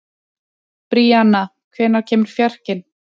Bríanna, hvenær kemur fjarkinn?